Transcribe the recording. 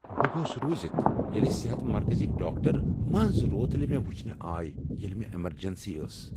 بہٕ گوس رُوزتھ ییٚلہ صحت مرکزٕکۍ ڈاکٹر منز روتلہ مےٚ وٕچھنہ آیہ ییٚلہ مےٚ امرجنسی ٲس۔